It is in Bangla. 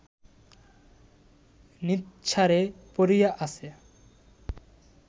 নিঃসাড়ে পড়িয়া আছে